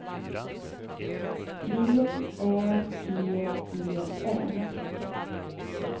V Ä G E N